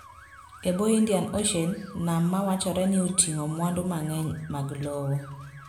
E bwo Indian Ocean, nam ma wachore ni oting'o mwandu mang'eny mag lowo.